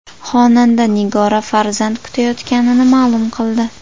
Xonanda Nigora farzand kutayotganini ma’lum qildi.